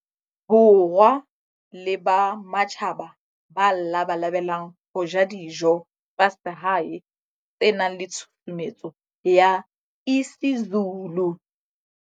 Borwa le ba matjhaba ba labalabelang ho ja dijo tsa hae tse nang le tshusumetso ya isiZulu.